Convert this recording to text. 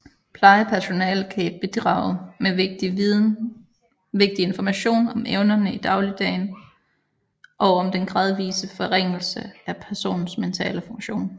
Plejepersonale kan bidrage med vigtig information om evnerne i dagligdagen og om den gradvise forringelse af personens mentale funktion